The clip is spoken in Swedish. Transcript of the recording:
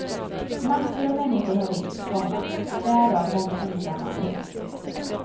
Massor av människor har ringt, komma därav många ensamma. punkt